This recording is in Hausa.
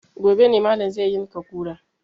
Gobe ne malam zai yanka kura